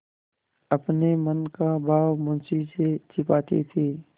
अपने मन का भाव मुंशी से छिपाती थी